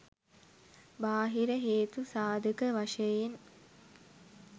බාහිර හේතු සාධක වශයෙන්